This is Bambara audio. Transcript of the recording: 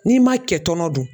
N'i ma kɛ tɔnɔ dun